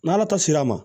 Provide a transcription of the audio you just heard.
N'ala ta sera a ma